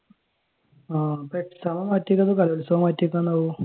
ആഹ് അപ്പോൾ exam മാറ്റിവെക്കുമോ അതോ കലോത്സവം മാറ്റി വെക്കുമോ ആവോ